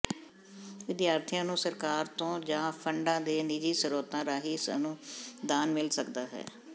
ਵਿਦਿਆਰਥੀਆਂ ਨੂੰ ਸਰਕਾਰ ਤੋਂ ਜਾਂ ਫੰਡਾਂ ਦੇ ਨਿਜੀ ਸਰੋਤਾਂ ਰਾਹੀਂ ਅਨੁਦਾਨ ਮਿਲ ਸਕਦਾ ਹੈ